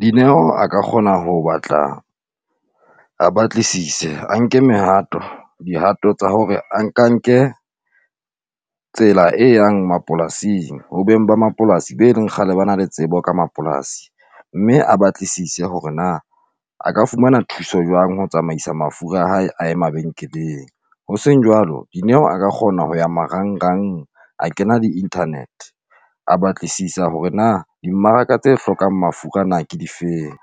Dineo a ka kgona ho batla a batlisise a nke mehato dihato tsa hore a nka nke tsela e yang mapolasing ho beng ba mapolasi be leng kgale ba na le tsebo ka mapolasi mme a batlisise hore na a ka fumana thuso jwang. Ho tsamaisa mafura a hae a ye mabenkeleng, hoseng jwalo Dineo a ka kgona ho ya marangrang a kena di-internet a batlisisa hore na dimmaraka tse hlokang mafura na ke di feng.